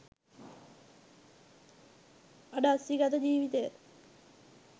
අඩස්සිගත ජීවිතය